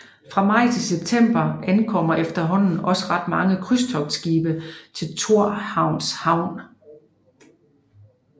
Fra maj til september ankommer efterhånden også ret mange krydstogtsskibe til Thorshavns Havn